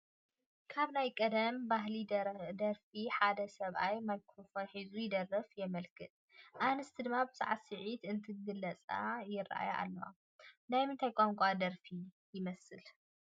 ካብ ናይ ቀደም ናይ ባህሊ ደረፍቲ ሓደ ሰብኣይ ማይክሮፎን ሒዙ ይደርፍ የመልክት፡፡ ኣንስቲ ድማ ብሳዕስዒት እንትገልፃ ይራኣያ ኣለዋ፡፡ ናይ ምንታይ ቋንቋ ደርፊ ይመስል?